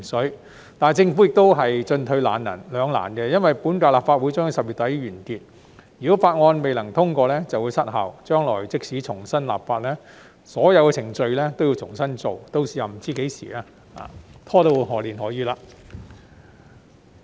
然而，政府亦都進退兩難，因為本屆立法會將於10月底完結，如果法案未能通過便會失效，將來即使重新立法，所有程序都要重新再做，屆時不知會拖到何年何月。